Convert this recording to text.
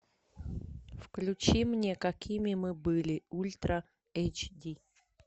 включи мне какими мы были ультра эйч ди